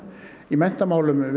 í menntamálum